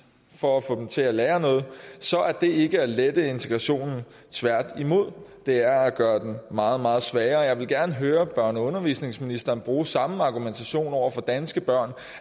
for at få dem til at lære noget så er det ikke at lette integrationen tværtimod det er at gøre den meget meget sværere jeg vil gerne høre børne og undervisningsministeren bruge samme argumentation over for danske børn